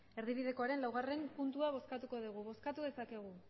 erdibidekoaren laugarren puntua bozkatuko dugu bozkatu dezakegu